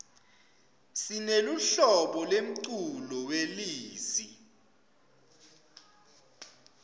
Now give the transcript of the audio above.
sineluhlobo lemculo welezi